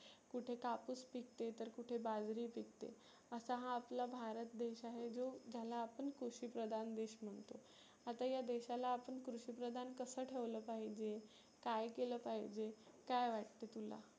कुठे कापुस पिकते, तर कुठे बाजरी पिकते असा हा आपला भारत देश आहे. जो ज्याला आपण कृषी प्रधान देश म्हणतो. आता या देशाला आपण कृषी प्रधान कसं ठेवलं पाहीजे काय केल पाहीजे, काय वाटते तुला.